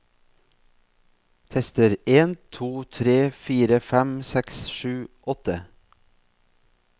Tester en to tre fire fem seks sju åtte